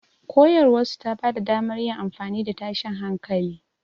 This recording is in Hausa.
Koyarwarsu ta ba da damar yin amfani da tashin hankali.